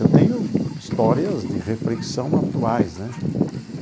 Eu tenho histórias de reflexão atuais, né?